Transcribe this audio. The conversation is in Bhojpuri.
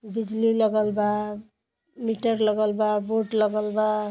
बिजली लगल बा मीटर लगल बा बोर्ड लगल बा।